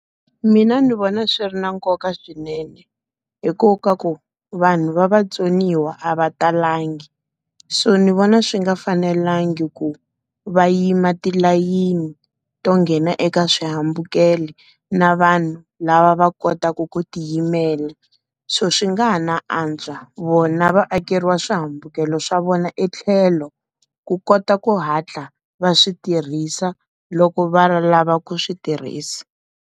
Mina ndzi vona swi ri na nkoka swinene. Hikokwalaho ka ku vanhu va vatsoniwa a va talangi. So ndzi vona swi nga fanelangi ku va yima tilayeni to nghena eka swihambukelo, na vanhu lava va kotaka ku ti yimela. So swi nga ha na antswa vona va akeriwa swihambukelo swa vona etlhelo, ku kota ku hatla va swi tirhisa loko va lava ku swi tirhisa.